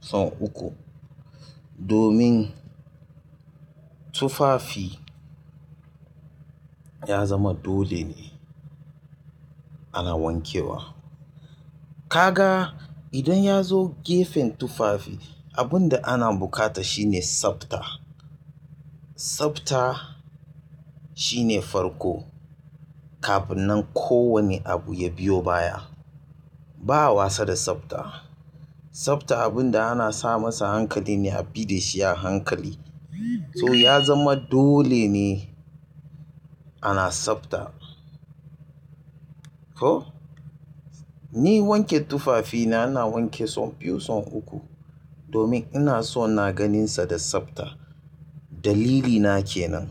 son uku domin tufafi ya zama dole ne ana wankewa. Kaga idan ya zo gefen tufafi abun da ana buƙata shine sabta. Sabta shine farko kafin nan kowane abu ya biyo baya. Ba wasa da sabta. Sabta abun da ana sa masa hankali ne a bi da shi a hankali. To ya zama dole ne ana sabta. Toh ni wanke tufafi na, ina wanke so biyu so uku domin ina so na ganinsa da sabta. Dalilina kenan.